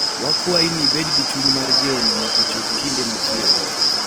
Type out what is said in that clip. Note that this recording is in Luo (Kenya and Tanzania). Wakwayi ni ibed gi chuny mar nano nyaka chop kinde machielo.